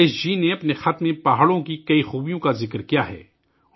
رمیش جی نے اپنے خط میں پہاڑوں کی بہت سی خوبیوں کا ذکر کیا ہے